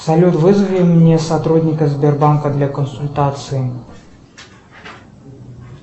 салют вызови мне сотрудника сбербанка для консультации